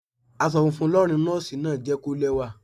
Aṣọ funfun lọ́rùn Nọ́ọ́sì náà jẹ́ kí ó lẹ́wà.